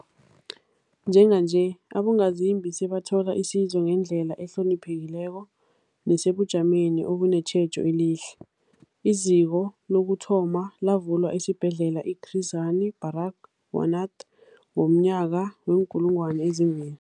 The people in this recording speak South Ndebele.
Njenganje, abongazimbi sebathola isizo ngendlela ehloniphekileko nesebujameni obunetjhejo elihle. IZiko lokuthoma lavulwa esiBhedlela i-Chris Hani Baragwanath ngomnyaka we-2000.